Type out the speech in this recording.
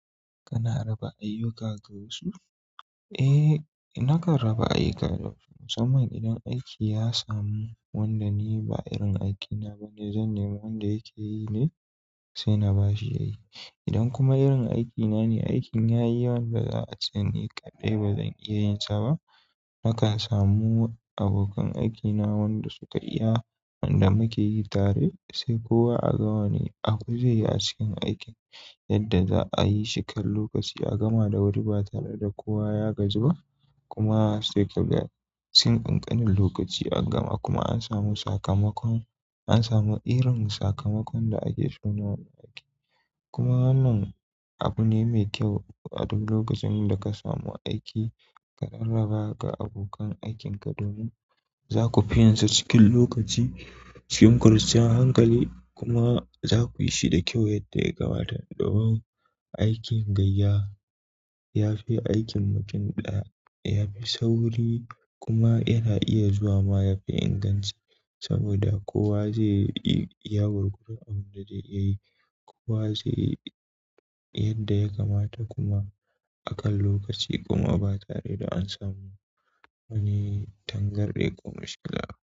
Kana raba ayyuka ga wasu? Eh, nakan raba ayyuka ga wasu. Musamman idan aiki ya samu wanda ni ba irin aikina bane, zan nemo wanda yake yi ne sai na ba shi ya yi. Idan kuma irin aiki nane, aikin yayi yawan da za'ace ni kaɗai bazan iya yinsa ba nakan samu abokan aikina wanda suka iya wanda muka yi tare sai kowa a gawa ne. Aku zai yi hasken aikin yadda za a yi shi kan lokaci a gama da wuri ba tare da kowa ya gajiba kuma sai kaga sinƙin ƙanin lokaci an gama kuma an samu sakamakon an samu irin sakamakon da ake so na aiki. Kuma wannann abu ne mai kyau a duk lokacin da ka samu aiki ka rarraba ga abokan aikin ka domin za ku fi yin sa cikin lokaci cikin kwanciyar hankali kuma za ku yi shi da kyau yadda ya kamata. Domin aikin gayya yafi aikin mutum ɗaya, yafi sauri, kuma yana iya zuwama yafi inganci saboda kowa zaiyi iya gwargwadon abinda zai iya yi kowa zai yi yadda ya kamata kuma akan lokaci kuma ba tare da an samu wani tangarɗi ko mishkila.